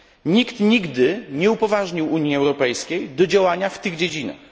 Nikt nigdy nie upoważnił Unii Europejskiej do działania w tych dziedzinach.